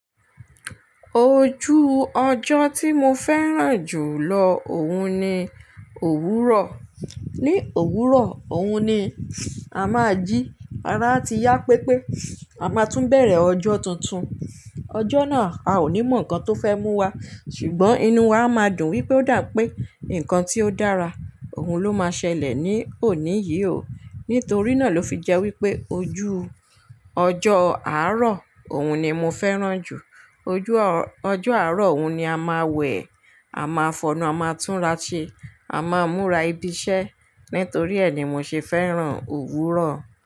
Ojú ọjọ́ tí mo fẹ́ràn jù lọ òhun ni òwúrọ̀. Ni òwúrọ̀, òhun ni a máa jí ara ti yá pépé, a máa tún bẹ̀rẹ̀ ọjọ́ tuntun. Ọjọ́ náà a ò ní mọ nǹkan tó fẹ́ mú wa, ṣùgbọ́n inú wa máa dùn wípé ó dà pé nǹkan tí ó dára òhun ló máa ṣẹlẹ̀ ní òní yìí o. Nítorí náà ló fi jẹ́ wípé ojú ọjọ́ àárọ̀ òhun ni mo fẹ́ràn jù. Ojú ọjọ́ àárọ̀ òhun ni a máa wẹ̀, a máa fọnú, a máa túnra ṣe, a máa múra ibi iṣẹ́. Nítorí ẹ ni mo ṣe fẹ́ràn òwúrọ̀.